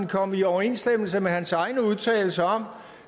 kommer i overensstemmelse med hans egne udtalelser om